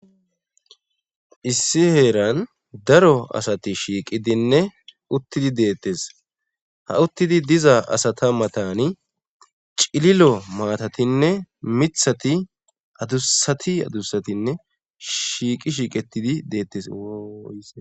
issi heeran daro asati shiiqidinne uttidi deettes ha uttidi diza asata matani cililo maatatinne mithati adusati adusatinne shshiiqi shiiqetidi deettes woy